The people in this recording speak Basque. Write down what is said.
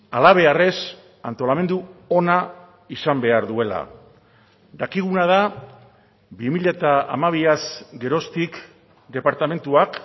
halabeharrez antolamendu ona izan behar duela dakiguna da bi mila hamabiaz geroztik departamentuak